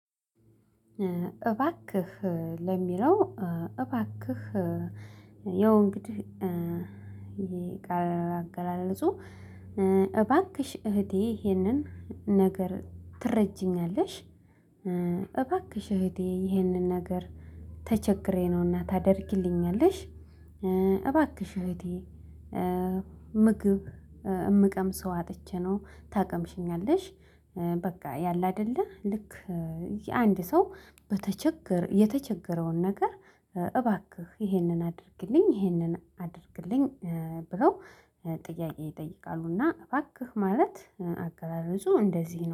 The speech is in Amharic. እባክህ ለሚለው እባክህ ያው እንግዲህ የቃሉ አገላለጹ እባክሽ እህቴ ይሄንን ነገር ትረጂኛለሽ? እባክሽ እህቴ ይህንን ነገር ተቸግሬ ነው እና ታደርጊልኛለሽ? እባክሽ እህቴ ምግብ የምቀምሰው አጥቼ ነው። ታቀምሺኛለሽ? በቃ ያለ አይደለ ልክ አንድ ሰው የተቸገረውን ነገር እባክህ ይሄንን አድርግልኝ፣ ይሄንን አድርግልኝ ብለው ጥያቄ ይጠይቃሉ እና እባክህ ማለት አገላለጹ እንደዚህ ነው